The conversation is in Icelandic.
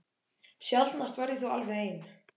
Sjaldnast var ég þó alveg ein.